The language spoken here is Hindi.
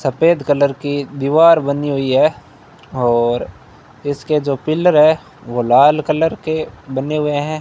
सफेद कलर की दीवार बनी हुई है और इसके जो पिल्लर है वो लाल कलर के बने हुए हैं।